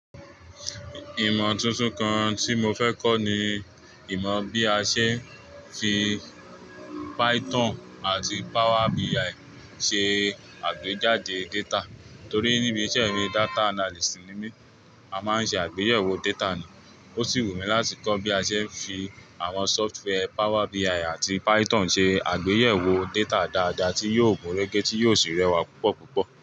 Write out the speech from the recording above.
Ìmọ̀ tuntun kan tí mo fẹ́ kọ́ ni ìmọ̀ bí a ṣe fi Python àti Power BI ṣe àgbéjáde data. Torí níbi iṣẹ́ mi, data analyst ni mí, a máa ń ṣe àgbéyẹ̀wò data ni. Ó sì wù mí láti kọ́ bí a ṣe ń fi àwọn software Power BI àti Python ṣe àgbéyẹ̀wò data dáadáa, tí yóò gúnrégé, tí yóò sì rẹwà púpọ̀ púpọ̀.